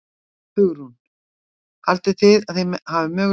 Hugrún: Haldið þið að þið eigið möguleika á miðum?